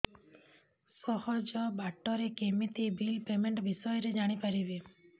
ସହଜ ବାଟ ରେ କେମିତି ବିଲ୍ ପେମେଣ୍ଟ ବିଷୟ ରେ ଜାଣି ପାରିବି